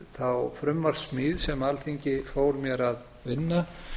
þá frumvarpssmíð sem alþingi fól mér að vinna